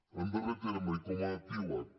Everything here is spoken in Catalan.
en darrer terme i com a epíleg